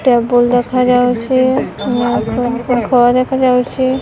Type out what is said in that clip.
Table ଦେଖାଯାଉଚି ଉଁ କ ଘର ଦେଖାଯାଉଚି।